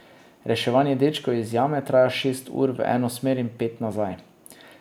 Reševanje dečkov iz jame traja šest ur v eno smer in pet nazaj.